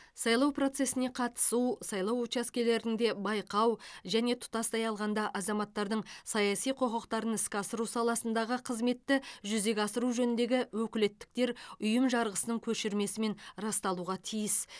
сайлау процесіне қатысу сайлау учаскелерінде байқау және тұтастай алғанда азаматтардың саяси құқықтарын іске асыру саласындағы қызметті жүзеге асыру жөніндегі өкілеттіктер ұйым жарғысының көшірмесімен расталуға тиіс